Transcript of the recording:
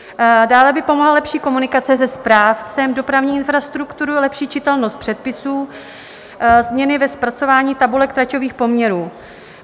Dále by pomohla lepší komunikace se správcem dopravní infrastruktury, lepší čitelnost předpisů, změny ve zpracování tabulek traťových poměrů.